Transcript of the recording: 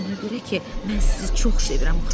Ona görə ki, mən sizi çox sevirəm, xala.